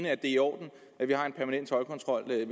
er i orden at vi har en permanent toldkontrol ved